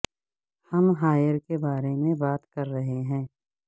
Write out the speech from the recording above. ہم ہائیر کے بارے میں بات کر رہے ہیں